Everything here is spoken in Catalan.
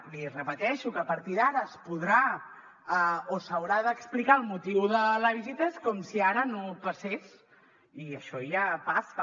li ho repeteixo que a partir d’ara es podrà o s’haurà d’explicar el motiu de la visita és com si ara no passés i això ja passa